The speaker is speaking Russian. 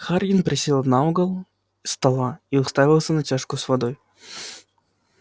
хардин присел на угол стола и уставился на чашку с водой